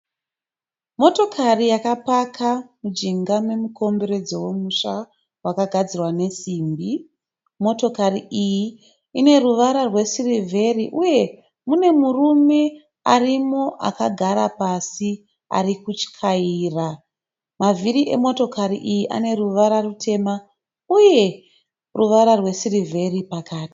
Motokari yakapaka mujinga yemukomberedzo wemusha wakagadzirwa nesimbi. Motokari iyi ine ruvara rwe sirivheri uye mune murume arimo akagara pasi arikuchaira. Mavhiri e motokari iyi ane ruvara rutema uye ruvara rwe sirivheri pakati.